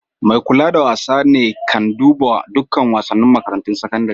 Mai kulawa da wasa ne kan duban duk wasanin makarantun sakandaren.